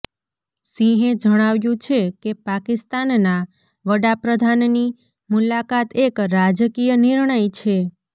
સિંહે જણાવ્યું છે કે પાકિસ્તાનના વડાપ્રધાનની મુલાકાત એક રાજકીય નિર્ણય છે